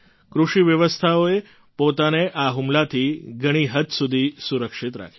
કૃષિ વ્યવસ્થાએ પોતાને આ હુમલાથી ઘણી હદ સુધી સુરક્ષિત રાખી